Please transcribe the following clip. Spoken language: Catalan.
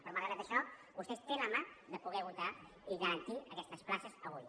però malgrat això vostè té a la mà de poder votar i garantir aquestes places avui